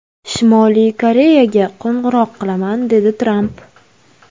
Shimoliy Koreyaga qo‘ng‘iroq qilaman”, dedi Tramp.